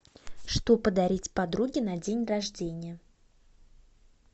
что подарить подруге на день рождения